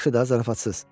Yaxşı da zarafatsız.